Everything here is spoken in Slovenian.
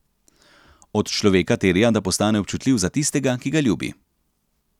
Od človeka terja, da postane občutljiv za tistega, ki ga ljubi.